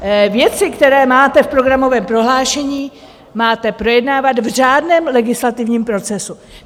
Věci, které máte v programovém prohlášení, máte projednávat v řádném legislativním procesu.